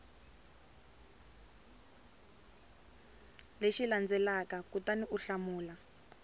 lexi landzelaka kutani u hlamula